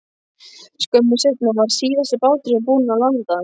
Skömmu seinna var síðasti báturinn búinn að landa.